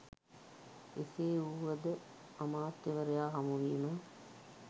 එසේ වුවද අමාත්‍යවරයා හමුවීම